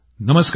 नमस्कार